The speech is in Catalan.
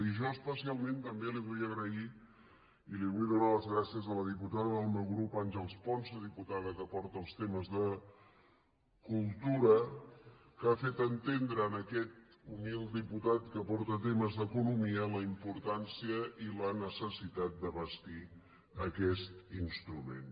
i jo especialment també vull agrair i li vull donar les gràcies a la diputada del meu grup àngels ponsa diputada que porta els temes de cultura que ha fet entendre a aquest humil diputat que porta temes d’economia la importància i la necessitat de bastir aquest instrument